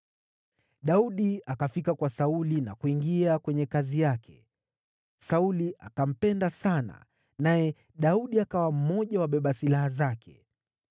Daudi akafika kwa Sauli na kuingia kwenye kazi yake. Sauli akampenda sana, naye Daudi akawa mmoja wa wabeba silaha wake.